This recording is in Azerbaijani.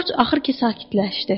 Corc axır ki sakitləşdi.